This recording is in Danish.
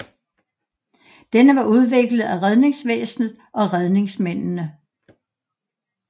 Denne var udviklet af redningsvæsenet og redningsmændene